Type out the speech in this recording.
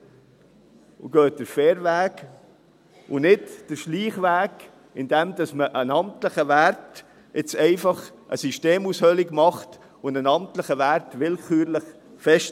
Gehen Sie den fairen Weg, und nicht den Schleichweg, indem man einen amtlichen Wert – einen amtlichen Wert – willkürlich festlegt und jetzt einfach eine Systemaushöhlung macht.